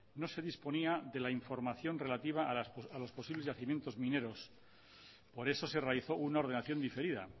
no se disponía de la información relativa a los posibles yacimientos mineros por eso se realizó una ordenación diferida